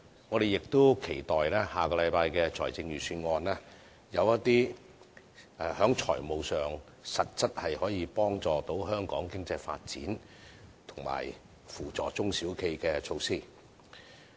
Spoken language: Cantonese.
我們亦期待下星期的財政預算案有一些在財務上實質可幫助香港經濟發展，以及扶助中小企的措施。